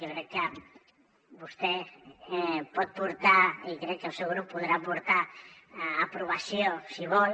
jo crec que vostè pot portar i crec que el seu grup podrà portar a aprovació si vol